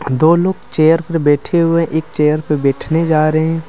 दो लोग चेयर पर बैठे हुए एक चेयर पर बैठने जा रहे हैं।